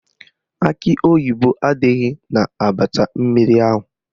Akị oyibo adịghị n'abacha mmiri ahụ